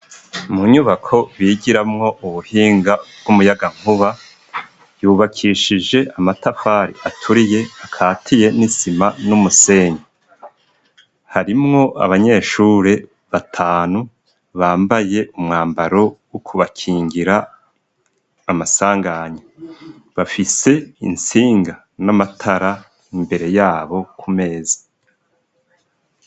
Mu nyubako bigiramwo ubuhinga bw'umuyagankuba, yubakishije amatafari aturiye akatiye n'isima n'umusenyi. Harimwo abanyeshure batanu bambaye umwambaro wo kubakingira amasanganya. Bafise intsinga n'amatara imbere yabo ku meza.